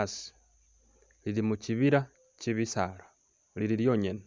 asi lili mukyibila kyebisaala lili lyonyene